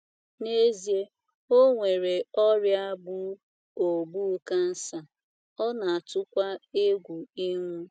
N'ezie,o nwere ọria gbụ ogbụ cancer, ona atụkwa egwụ ịnwụ